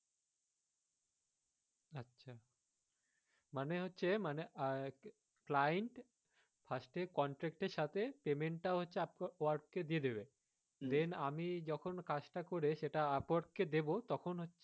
মানে হচ্ছে মানে আহ client first এ contract এর সাথে payment টা হচ্ছে up work কে দিয়ে দেবে then আমি যখন কাজ টা করে যখন upwork কে দেবো তখন হচ্ছে,